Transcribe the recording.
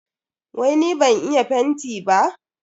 Wai ni ban iya fenti ba?